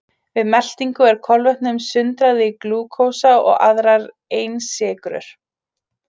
Við meltingu er kolvetnum sundrað í glúkósa og aðrar einsykrur.